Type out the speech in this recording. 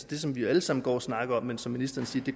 det som vi alle sammen går og snakker om men som ministeren siger